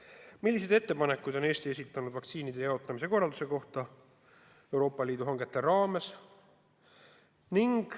Küsime, milliseid ettepanekuid on Eesti esitanud vaktsiinide jaotamise korralduse kohta Euroopa Liidu hangete raames.